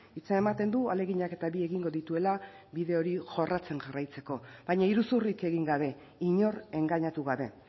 hitza ematen du ahaleginak eta bi egingo dituela bide hori jorratzen jarraitzeko baina iruzurrik egin gabe inor engainatu gabe